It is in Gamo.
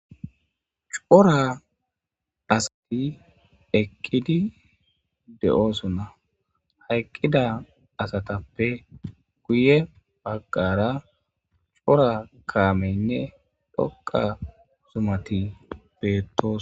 Cora asati eqqidi de'oosonna. Ha eqqida asatappe guye bagqara cora kaameynne dhoqqa zumati beettosona.